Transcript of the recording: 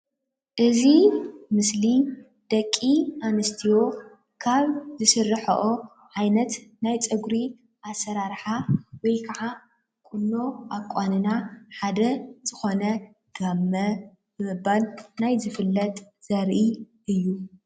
እዚ ምስሊ ደቂ ኣንስትዮ ካብ ዝስርሐኦ ዓይነት ናይ ፀግሪ ኣሰራራሓ ወይ ከዓ ቁኖ አቛንና ሓደ ዝኮነ ጋመ ብምባል ናይ ዝፍለጥ ዘርኢ እዩ።